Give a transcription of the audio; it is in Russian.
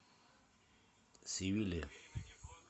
севилья